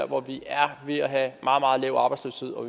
hvor vi er ved at have meget meget lav arbejdsløshed og